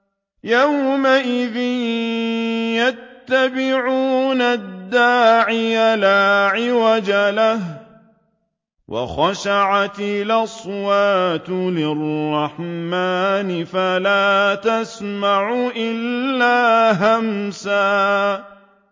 يَوْمَئِذٍ يَتَّبِعُونَ الدَّاعِيَ لَا عِوَجَ لَهُ ۖ وَخَشَعَتِ الْأَصْوَاتُ لِلرَّحْمَٰنِ فَلَا تَسْمَعُ إِلَّا هَمْسًا